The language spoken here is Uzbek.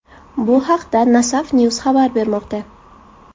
Bu haqda Nasafnews xabar bermoqda .